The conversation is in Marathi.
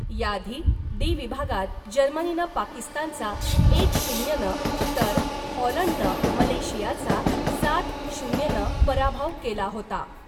याआधी ' डी ' विभागात जर्मनीनं पाकिस्तानचा एक शून्यनं , तर हॉलण्डनं मलेशियाचा सात शून्यनं पराभव केला होता .